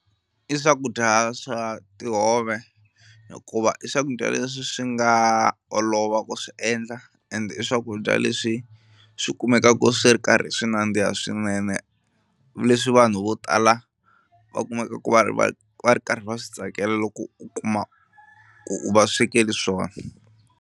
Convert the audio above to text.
I swakudya swa tihove hikuva i swakudya leswi swi nga olova ku swi endla ende i swakudya leswi swi kumekaka swi ri karhi ri swi nandziha swinene leswi vanhu vo tala va kumeka ku va va va ri karhi va swi tsakela loko u kuma ku u va swekela swona.